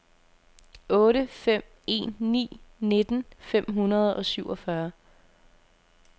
otte fem en ni nitten fem hundrede og syvogfyrre